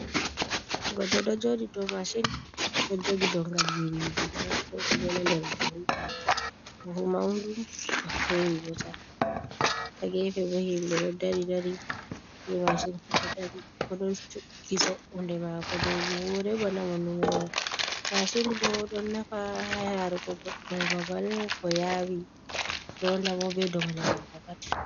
Goɗɗo ɗo jooɗi dow masin ɗo jogi dongal birijina, ko ɗume na ?.Nder buhu, buhu mawɗum bo hewi bo car, haa gefe bo himɓe ɗo dari dari ni. Masin ko ɗo dari bo ɗon cu’i so’unde maako dow buhure bana o numowo. Masin bo ɗon nafa yaaruko goɗɗo babal ko yaawi ronda mo be dongle maako pat.